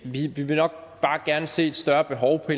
vil nok bare gerne se et større behov på